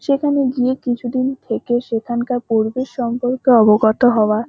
সেখানে গিয়ে কিছুদিন থেকে সেখানকার পরিবেশ সম্পর্কে অবগত হওয়া।